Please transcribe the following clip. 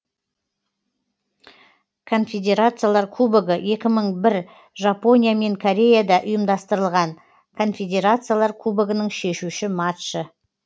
конфедерациялар кубогы екі мың бір жапония мен кореяда ұйымдастырылған конфедерациялар кубогының шешуші матчы